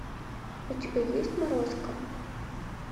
у тебя есть морозко